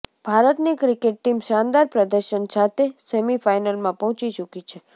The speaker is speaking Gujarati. ભારતની ક્રિકેટ ટીમ શાનદાર પ્રદર્શન સાથે સેમિફાઈનલમાં પહોંચી ચૂકી છે